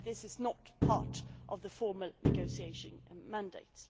However this is not part of the formal negotiating mandate.